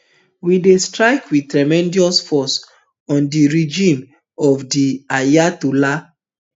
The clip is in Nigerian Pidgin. we dey strike wit tremendous force on di regime of di ayatollahs